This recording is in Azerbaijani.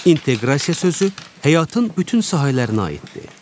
İnteqrasiya sözü həyatın bütün sahələrinə aiddir.